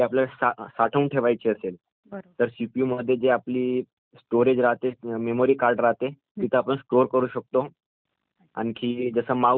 तर सीपीयू मध्ये आपली स्टोरेज राहाते, मेमरीकार्ड राहाते..जिथं आपणं स्टोअर करु शकतो..आणखी जसं माऊस झाला..हा एक छोटासा एक पार्ट असतो